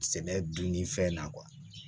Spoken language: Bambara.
Sɛnɛ dun ni fɛn na